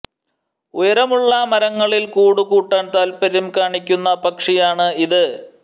ഉയരമുള്ള മരങ്ങളിൽ കൂട് കൂട്ടാൻ താൽപ്പര്യം കാണിക്കുന്ന പക്ഷിയാണ് ഇത്